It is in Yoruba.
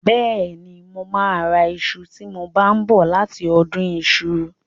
Bẹ́ẹ̀ni, mo máa ra iṣu tí mo bá ń bọ̀ láti ọdún iṣu.